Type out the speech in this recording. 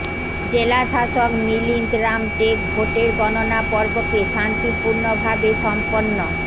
জেলা শাসক মিলিন্দ রামটেক ভোটের গণনা পর্বকে শান্তিপূর্ণভাবে সম্পন্ন